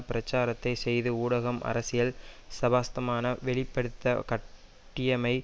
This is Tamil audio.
பிரச்சாரத்தை செய்து ஊடகம் அரசியல் ஸ்பாஸ்தமான வெளிப்படுத்த காட்டியமை